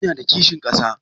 Ya na da kishin ƙasa?